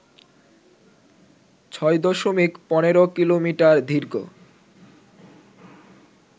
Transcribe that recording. ৬ দশমিক ১৫ কিলোমিটার দীর্ঘ